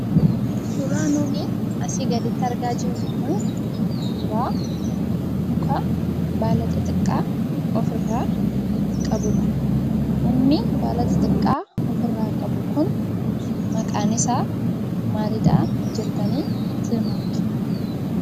Suuraa nuti asii gaditti argaa jirru kun suuraa mukaa baala xixiqqaa ofirra qabudha. Mukni baala xixiqqaa ofirra qabu kun maqaan isaa maaliidha jettani tilmaamtu?